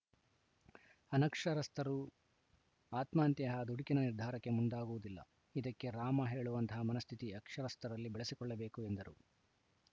ಅನಕ್ಷರಸ್ಥರರು ಆತ್ಮಹತ್ಯೆಯಂತಹ ದುಡುಕಿನ ನಿರ್ಧಾರಕ್ಕೆ ಮುಂದಾಗುವುದಿಲ್ಲ ಇದಕ್ಕೆ ರಾಮ ಹೇಳುವಂತಹ ಮನಸ್ಥಿತಿ ಅಕ್ಷರಸ್ಥರಲ್ಲಿ ಬೆಳೆಸಿಕೊಳ್ಳಬೇಕು ಎಂದರು